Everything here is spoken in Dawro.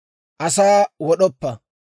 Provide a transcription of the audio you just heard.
«Asa wod'oppa.